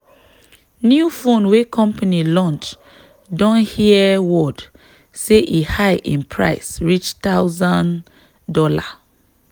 new phone wey company launch don hear word say e high in price reach thousand dollar.